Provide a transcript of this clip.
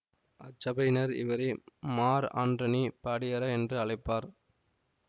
அச்சபையினர் இவரை மார் ஆன்றணி படியற என்ற அழைப்பார்